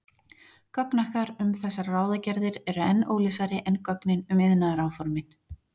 Gögn okkar um þessar ráðagerðir eru enn óljósari en gögnin um iðnaðaráformin.